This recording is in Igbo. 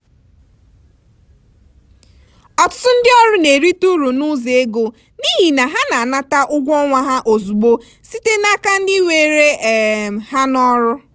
ọtụtụ ndị ọrụ na-erite uru n'ụzọ ego n'ihi na ha na-anata ụgwọ ọnwa ha ozugbo site n'aka ndị were um ha n'ọrụ.